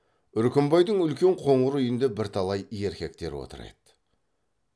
үркімбайдың үлкен қоңыр үйінде бірталай еркектер отыр еді